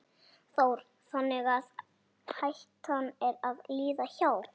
Þóra: Þannig að hættan er að líða hjá?